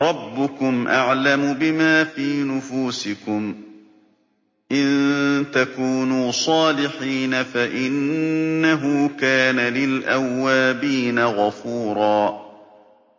رَّبُّكُمْ أَعْلَمُ بِمَا فِي نُفُوسِكُمْ ۚ إِن تَكُونُوا صَالِحِينَ فَإِنَّهُ كَانَ لِلْأَوَّابِينَ غَفُورًا